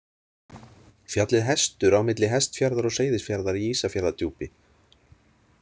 Fjallið Hestur á milli Hestfjarðar og Seyðisfjarðar í Ísafjarðardjúpi.